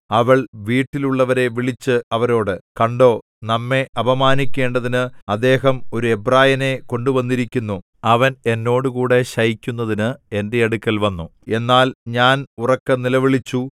അവൾ വീട്ടിലുള്ളവരെ വിളിച്ച് അവരോട് കണ്ടോ നമ്മെ അപമാനിക്കേണ്ടതിന് അദ്ദേഹം ഒരു എബ്രായനെ കൊണ്ടുവന്നിരിക്കുന്നു അവൻ എന്നോടുകൂടി ശയിക്കുന്നതിനു എന്റെ അടുക്കൽ വന്നു എന്നാൽ ഞാൻ ഉറക്കെ നിലവിളിച്ചു